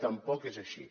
tampoc és així